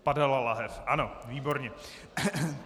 Padala lahev, ano, výborně.